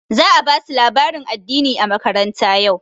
Za a ba su labarin addini a makaranta yau.